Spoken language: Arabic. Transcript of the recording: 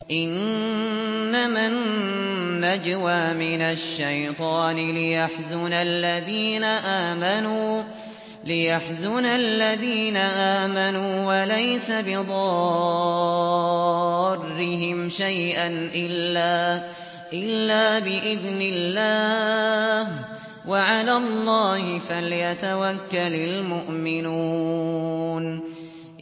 إِنَّمَا النَّجْوَىٰ مِنَ الشَّيْطَانِ لِيَحْزُنَ الَّذِينَ آمَنُوا وَلَيْسَ بِضَارِّهِمْ شَيْئًا إِلَّا بِإِذْنِ اللَّهِ ۚ وَعَلَى اللَّهِ فَلْيَتَوَكَّلِ الْمُؤْمِنُونَ